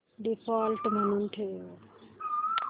default म्हणून ठेव